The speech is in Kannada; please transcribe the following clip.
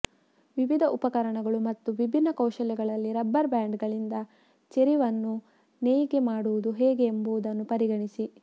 ವಿವಿಧ ಉಪಕರಣಗಳು ಮತ್ತು ವಿಭಿನ್ನ ಕೌಶಲ್ಯಗಳಲ್ಲಿ ರಬ್ಬರ್ ಬ್ಯಾಂಡ್ಗಳಿಂದ ಚೆರಿವನ್ನು ನೇಯ್ಗೆ ಮಾಡುವುದು ಹೇಗೆ ಎಂಬುದನ್ನು ಪರಿಗಣಿಸಿ